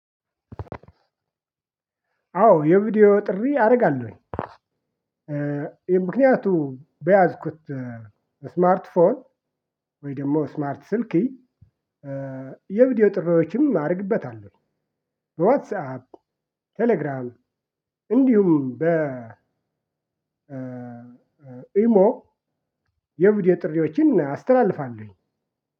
አዎ የቪዲዮ ጥሪ አረጋለሁኝ። ይህ ምክንያቱ በያዝኩት ስማርት ፎን ወይ ደግሞ ስማርት ስልኪ የቪዲዮ ጥሪዎችም አረግበታለሁ። በዋትስአፕ ቴሌግራም እንዲሁም በ ኢሞ የቪዲዮ ጥሪዎችን አስተላልፋለሁኝ።